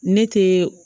Ne te